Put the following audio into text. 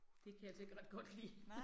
Det kan jeg altså ikke ret godt lide